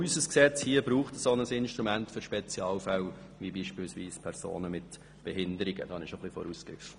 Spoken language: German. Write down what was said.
Auch unser Gesetz braucht ein Instrument für Spezialfälle, wie sie beispielsweise Personen mit Behinderungen sind.